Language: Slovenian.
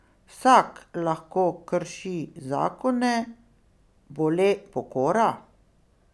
Vsak lahko krši zakone, bo le pokora?